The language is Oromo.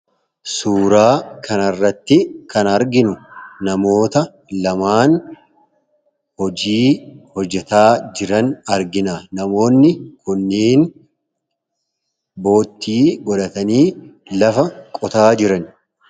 suuraa kanarratti kan arginu namoota lamaan hojii hojjetaa jiran argina namoonni kunneen boottii godhatanii lafa qotaa jiran